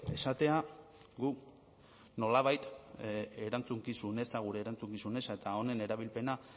esatea gu nolabait erantzukizun eza gure erantzukizun eza eta honen erabilpena